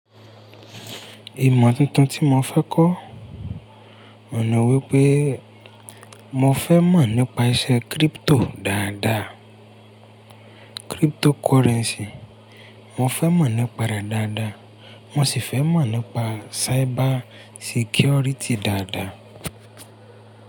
Ìmọ tuntun tí mo fẹ́ kọ́, ọ̀hun ni wípé mo fẹ́ mọ̀ nípa iṣẹ́ crypto dáadáa. Cryptocurrency, mo fẹ́ mọ̀ nípa rẹ̀ dáadáa, mo sì fẹ́ mọ̀ nípa cyber security dáadáa.